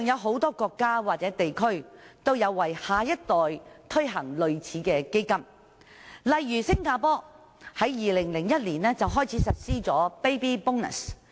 很多國家或地區現時也有為下一代推行類似的基金，例如新加坡自2001年開始實施的 Baby Bonus。